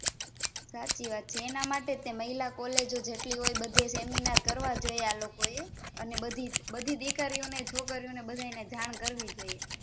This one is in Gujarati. સાચી વાત છે એના માટેજ મહિલા College જેટલી હોય ત્યાં સેમીનારકરવા જોઈએ આ લોકો એ બધી દિકરીઓ ને છોકરીઓનેજાણ કરવી જોઈએ